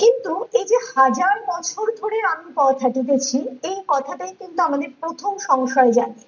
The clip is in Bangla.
কিন্তু এই যে হাজার বছর ধরে আমি পথ হাঁটিতেছি এই কথাটায় কিন্তু আমাদের প্রথম সংশয় জাগে